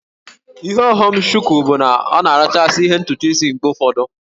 Ihe ọghọm nke Shuku bụ na ọ na-arachasị ihu ntutu isi mgbe ụfọdụ